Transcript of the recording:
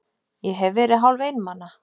Ég hef verið hálfeinmana.